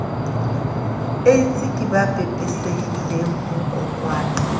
aids ke ba pepesehileng ho